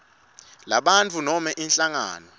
lebantfu noma inhlangano